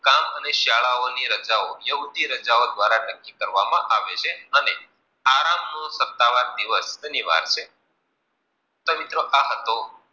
તો મિત્રો આ હતુ કામ અને શાળાઓ ની રચાઓ યુવતી રચાઓ નક્કી કરવામાં આવે છે આરામ નું સતાવાર દિવસ અનિવાર્ય છે. તો મિત્રો આ હતો